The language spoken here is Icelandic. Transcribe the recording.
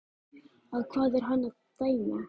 Á hvað er hann að dæma?